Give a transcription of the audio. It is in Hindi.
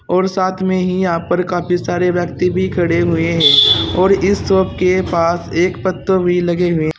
और साथ में ही यहां पर काफी सारे व्यक्ति भी खड़े हुए हैं और इस शॉप के पास एक पत्तो भी लगे हुए --